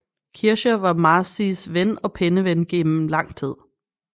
Kircher var Marcis ven og penneven igennem lang tid